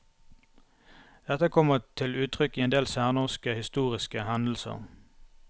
Dette kommer til uttrykk i en del særnorske historiske hendelser.